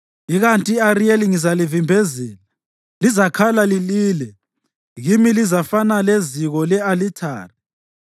Ikanti i-Ariyeli ngizalivimbezela, lizakhala lilile, kimi lizafana leziko le-alithari.